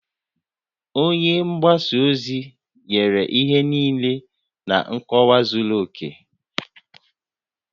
Onye mgbasa ozi nyere ihe niile na nkọwa zuru oke